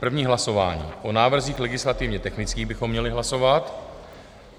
První hlasování - o návrzích legislativně technických bychom měli hlasovat.